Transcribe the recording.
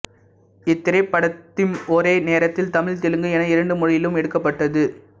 இத்திரைப்படத்திம் ஒரே நேரத்தில் தமிழ் தெலுங்கு என இரண்டு மொழியிலும் எடுக்கப்பட்டது